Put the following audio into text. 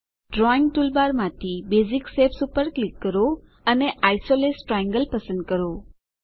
drawing ટૂલબારમાંથી basic shapes પર click કરો અને આઇસોસેલેસ ટ્રાયેંગલ પસંદ કરો